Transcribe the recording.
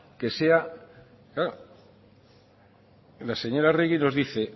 que sea claro la señora arregi nos dice